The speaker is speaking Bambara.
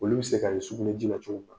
Olu bɛ se ka ye sugunɛ ji la cogo minna.